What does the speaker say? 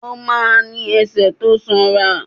Ó ma ní ẹsẹ̀ tó sanra.